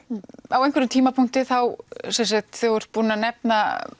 á einhverjum tímapunkti þegar þú ert búin að nefna